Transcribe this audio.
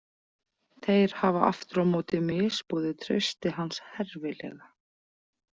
Þeir hafa aftur á móti misboðið trausti hans herfilega.